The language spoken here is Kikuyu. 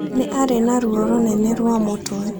Nĩ arĩ na ruo rũnene rwa mũtwe